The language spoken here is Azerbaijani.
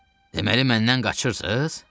Deməli məndən qaçırsız?